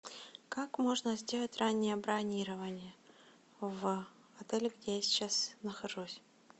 как можно сделать раннее бронирование в отеле где я сейчас нахожусь